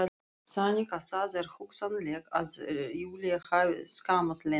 Þannig að það er hugsanlegt að Júlía hafi skammað Lenu.